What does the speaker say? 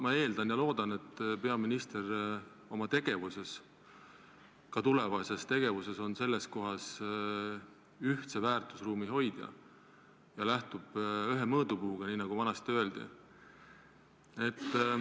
Ma eeldan ja loodan, et peaminister oma tegevuses, ka tulevases tegevuses, on selles asjas ühtse väärtusruumi hoidja ja lähtub ühest mõõdupuust, nagu vanasti öeldi.